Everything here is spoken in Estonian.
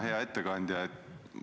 Hea ettekandja!